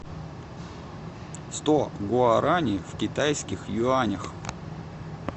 сто гуарани в китайских юанях